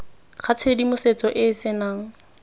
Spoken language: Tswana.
ga tshedimosetso e e senang